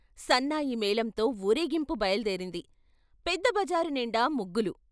సన్నాయి మేళంతో వూరేగింపు బయలు దేరింది, పెద్ద బజారునిండా ముగ్గులు.